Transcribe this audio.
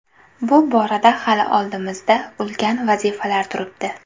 Bu borada hali oldimizda ulkan vazifalar turibdi.